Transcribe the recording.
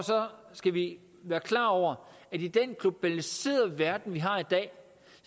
skal vi være klar over at i den globaliserede verden vi har i dag